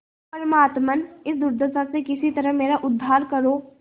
परमात्मन इस दुर्दशा से किसी तरह मेरा उद्धार करो